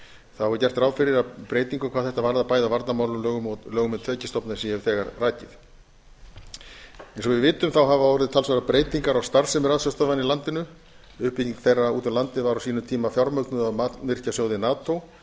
þá er gert ráð fyrir breytingu hvað þetta varðar bæði á varnarmálalögum og lögum um tekjustofna eins og ég hef þegar rakið eins og við vitum þá hafa orðið talsverðar breytingar á starfsemi ratsjárstöðvanna í landinu uppbygging þeirra út um landið var á sínum tíma fjármögnuð af mannvirkjasjóði nato